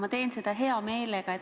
Ma teen seda hea meelega.